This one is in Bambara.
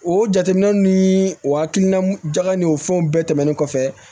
O jateminɛ ni o hakilina jaga ni o fɛnw bɛɛ tɛmɛnen kɔfɛ